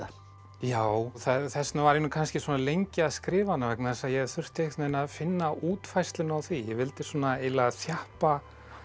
já þess vegna var ég kannski svona lengi að skrifa hana vegna þess að ég þurfti að finna útfærsluna á því ég vildi eiginlega þjappa